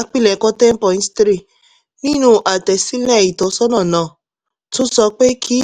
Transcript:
apilẹ̀kọ ten poin three nínú àtẹ̀sílẹ̀ ìtọ́sọ́nà náà tó sọ pé kí